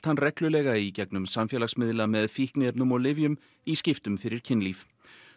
hann reglulega í gegnum samfélagsmiðla með fíkniefnum og lyfjum í skiptum fyrir kynlíf